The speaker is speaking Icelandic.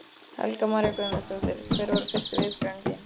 Helga María Guðmundsdóttir: Hver voru fyrstu viðbrögð þín?